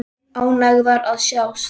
Ánægðar að sjást.